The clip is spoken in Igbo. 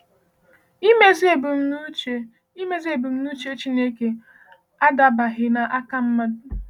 Imezu ebumnuche Imezu ebumnuche Chineke adabaghị n’aka mmadụ.